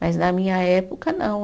Mas na minha época, não.